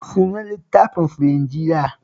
Sunan littafinsu Linjila